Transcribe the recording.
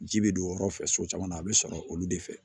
Ji bɛ don o yɔrɔ fɛ so caman na a bɛ sɔrɔ olu de fɛ